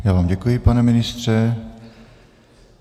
Já vám děkuji, pane ministře.